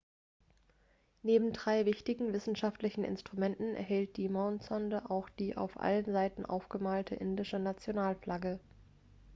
neben drei wichtigen wissenschaftlichen instrumenten enthielt die mondsonde auch die auf allen seiten aufgemalte indische nationalflagge